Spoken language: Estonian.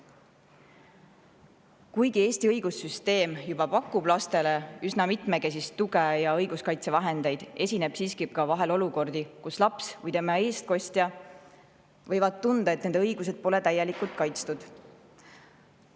Kuigi Eesti õigussüsteem juba pakub lastele üsna mitmekesist tuge ja õiguskaitsevahendeid, esineb siiski vahel olukordi, kus laps või tema eestkostja võib tunda, et tema õigused pole täielikult kaitstud.